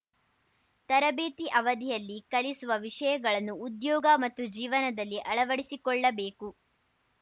ತರಬೇತಿ ಅವಧಿಯಲ್ಲಿ ಕಲಿಸುವ ವಿಷಯಗಳನ್ನು ಉದ್ಯೋಗ ಮತ್ತು ಜೀವನದಲ್ಲಿ ಅಳವಡಿಸಿಕೊಳ್ಳಬೇಕು